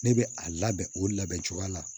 Ne bɛ a labɛn o labɛn cogoya la